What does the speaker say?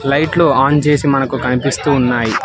లైట్లు ఆన్ చేసి మనకు కనిపిస్తూ ఉన్నాయ్.